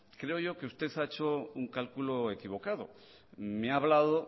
creo yo que usted ha hecho un cálculo equivocado me ha hablado